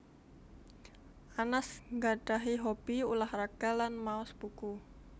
Anas nggadhahi hobby ulah raga lan maos buku